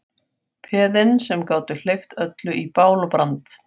Peðin sem gátu hleypt öllu í bál og brand.